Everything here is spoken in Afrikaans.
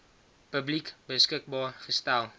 publiek beskikbaar gestel